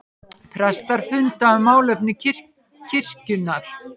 Prestar funda um málefni kirkjunnar